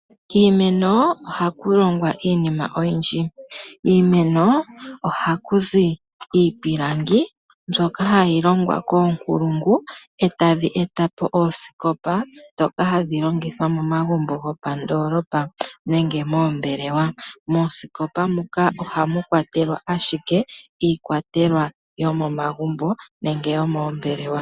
Kiimeno ohaku longwa iinima oyindji. Kiimeno ohaku zi iipilangi mbyoka hayi longwa koonkulungu e tadhi eta po oosikopa ndhoka hadhi longithwa momagumbo gopandoolopa nenge moombelewa. Moosikopa muka ohamu kwatelwa ashike iikwatelwa yoomomagumbo nenge yomoombelewa.